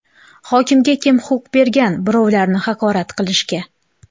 Hokimga kim huquq bergan birovlarni haqorat qilishga?